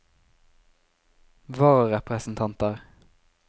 vararepresentanter